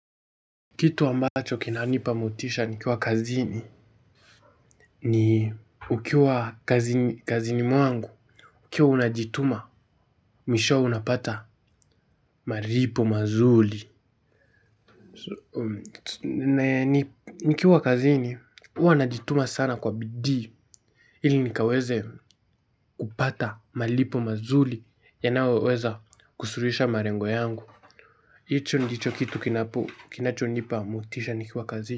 Kitu ambacho kinanipa motisha nikiwa kazini. Ni ukiwa kazini mwangu ukiwa unajituma, mwishowe unapata malipo mazuri. Nikiwa kazini, huwa najituma sana kwa bidii ili nikaweze kupata malipo mazuri yanayoweza kusuluhisha malengo yangu hicho ndicho kitu kinapo, kinacho nipa motisha nikiwa kazini.